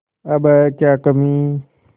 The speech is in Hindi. अब है क्या कमीं